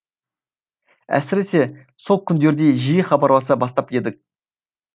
әсіресе сол күндерде жиі хабарласа бастап едік